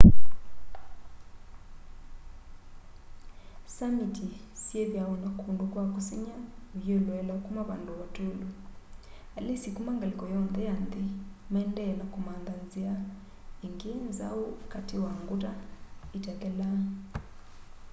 samiti syithwaa na kundu kwa kusengy'a uyiloela kuma vandu vatûlu. alisi kuma ngaliko yonthe ya nthi maendee na kumantha nzia ingi nzau kati wa nguta itathelaa